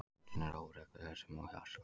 Öndun er óregluleg sem og hjartsláttur.